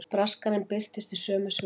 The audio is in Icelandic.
Braskarinn birtist í sömu svifum.